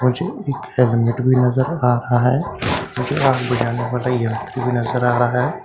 मुझे एक हेलमेट भी नजर आ रहा है मुझे जाने वाला यात्री भी नजर आ रहा है --